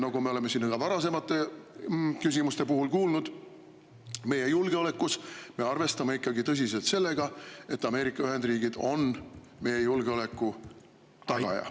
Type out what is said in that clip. Nagu me oleme siin ka varasemate küsimuste puhul kuulnud, me arvestame ikkagi tõsiselt sellega, et Ameerika Ühendriigid on meie julgeoleku tagaja.